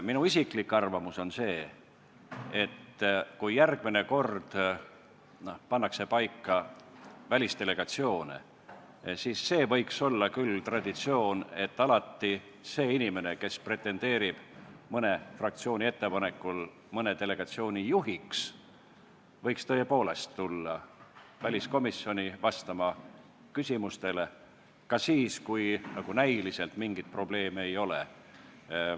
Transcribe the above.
Minu isiklik arvamus on see, et kui järgmine kord pannakse paika välisdelegatsioone, siis võiks olla küll traditsioon, et see inimene, kes pretendeerib mõne fraktsiooni ettepanekul mõne delegatsiooni juhiks, võiks tõepoolest tulla väliskomisjoni vastama küsimustele, ka siis, kui näiliselt mingit probleemi ei ole.